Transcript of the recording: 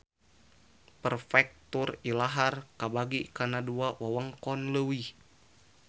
Perfektur ilahar kabagi kana dua wewengkon leuwih